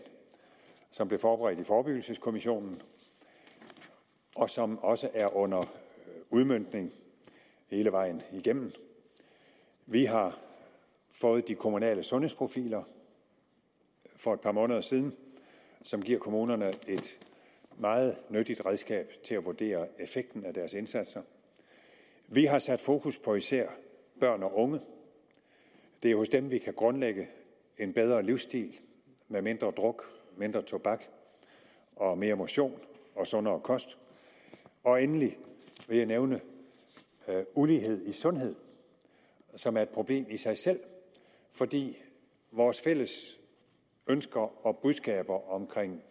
som blev forberedt i forebyggelseskommissionen og som også er under udmøntning hele vejen igennem vi har fået de kommunale sundhedsprofiler for et par måneder siden som giver kommunerne et meget nyttigt redskab til at vurdere effekten af deres indsatser vi har sat fokus på især børn og unge det er hos dem vi kan grundlægge en bedre livsstil med mindre druk mindre tobak og mere motion og sundere kost og endelig vil jeg nævne ulighed i sundhed som er et problem i sig selv fordi vores fælles ønsker og budskaber om